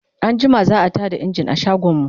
anjima za'a Tada engine a shagon mu